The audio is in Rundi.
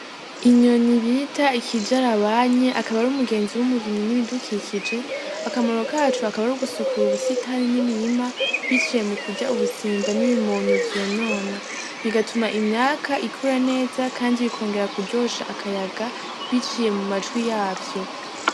Inyoni bita ikijarabanye akaba ari umugenzi w'umurimyi w'ibidukikije akamaro kaco akaba arugusukura ubusitani n'imirima biciye mukujya ubusimba n'ibimonyo vyonona bigatuma imyaka ikura neza kandi bikongera kujyosha akaya biciye mumatwi yavyo.